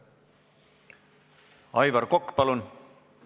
Aivar Kokk, palun!